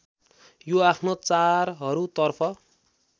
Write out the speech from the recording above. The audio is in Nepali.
यो आफ्नो चारहरूतर्फ